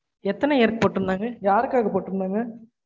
எத்தன year போட்டிருந்தாங்க யார்க்காக போட்டிருந்தாங்க?